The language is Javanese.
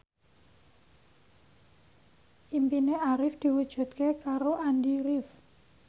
impine Arif diwujudke karo Andy rif